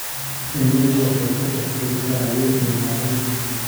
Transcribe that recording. Shinnidu waxay shaqaysaa habeen iyo maalin.